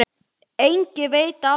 Enginn veit af þeim.